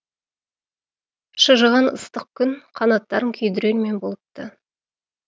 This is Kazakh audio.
шыжыған ыстық күн қанаттарын күйдірермен болыпты